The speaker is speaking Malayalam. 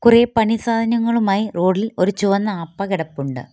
കുറേ പണി സാധനങ്ങളുമായി റോഡ് ഇൽ ഒരു ചുവന്ന ആപ കിടപ്പുണ്ട്.